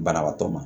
Banabaatɔ ma